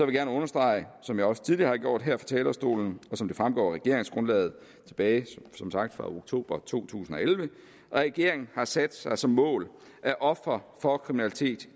gerne understrege som jeg også tidligere har gjort her fra talerstolen og som det fremgår af regeringsgrundlaget tilbage som sagt fra oktober to tusind og elleve at regeringen har sat sig som mål at ofre for kriminalitet